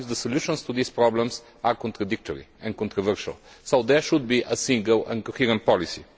Sometimes the solutions to these problems are contradictory and controversial, so there should be a single and coherent policy.